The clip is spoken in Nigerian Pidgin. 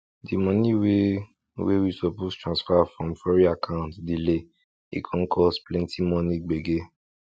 the money wey wey we suppose transfer from foreign account delay e con cause plenty money gbege